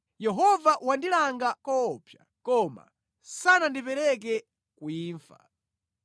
Yehova wandilanga koopsa, koma sanandipereke ku imfa.